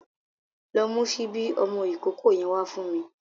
Lọ mu ṣíbí ọmọ ìkókó yẹn wá fún me.